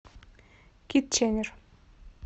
китченер